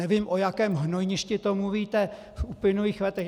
Nevím, o jakém hnojništi to mluvíte v uplynulých letech.